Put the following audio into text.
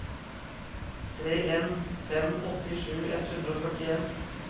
tre en en fem åttisju ett hundre og førtien